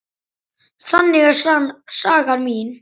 Þannig er saga mín.